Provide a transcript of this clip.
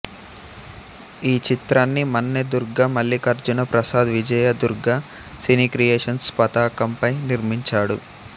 ఈ చిత్రాన్ని Manne Durga Mallikarjuna Prasad Vijaya Durga cine creations పతాకంపై నిర్మించాడు